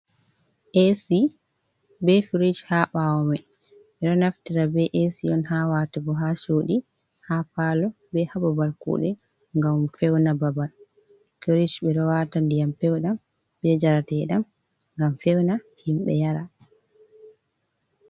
Ac be frish jlha bawo mai, ɓe ɗo naftira be ac on ha wata bo ha shudi ha palo be ha babal kuɗe ngam fewna babal, frish ɓe ɗo wata ndiyam pewdam be njarateɗam ngam fewna himɓe yara.